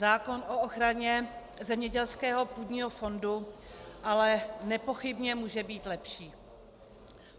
Zákon o ochraně zemědělského půdního fondu ale nepochybně může být lepší.